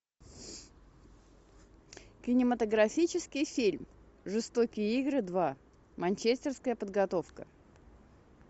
кинематографический фильм жестокие игры два манчестерская подготовка